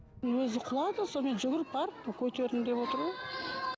өзі құлады сонымен жүгіріп барып көтердім деп отыр ғой